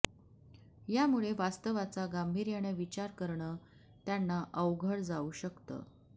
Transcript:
यामुळे वास्तवाचा गांभीर्यानं विचार करणं त्यांना अवघड जाऊ शकतं